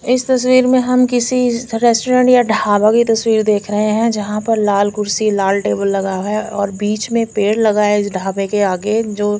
इस तस्वीर में हम किसी रेस्टोरेंट या ढाबे का तस्वीर देख रहे है जहा पर लाल कुड़सी लाल टेबल लगा हुआ है और बिच में पेड़ लगाए इस ढाबे के आगे जो --